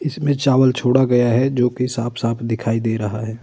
इसमें चावल छोड़ा गया है जो की साफ़-साफ़ दिखाई दे रहा है।